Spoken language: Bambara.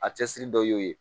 A cɛsiri dɔ y'o ye